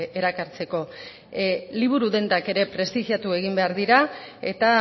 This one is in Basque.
erakartzeko liburu dendak ere prestigiatu egin behar dira eta